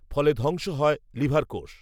ফলে ধংস হয় লিভার কোষ